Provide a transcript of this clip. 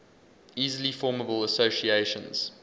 easily formable associations